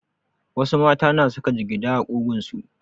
Wasu mata na saka jigida a ƙugunsu.